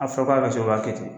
A fɔra k'a be se o kɛ ten